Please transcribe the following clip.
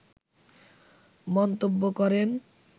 মন্তব্য করেন